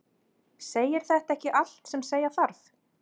Segir þetta ekki allt sem segja þarf?